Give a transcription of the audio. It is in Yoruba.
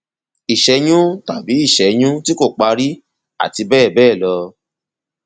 ìṣẹyún tàbí ìṣẹyún tí kò parí àti bẹẹ bẹẹ lọ